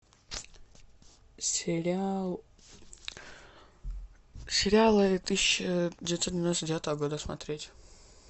сериал сериалы тысяча девятьсот девяносто девятого года смотреть